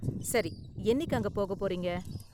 சரி, என்னிக்கு அங்க போகப் போறீங்க?